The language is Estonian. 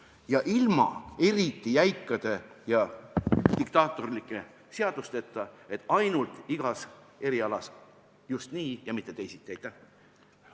Ja seda tuleb teha ilma jäikade ja diktaatorlike seadusteta, et iga eriala puhul peab olema just nii ja mitte teisiti!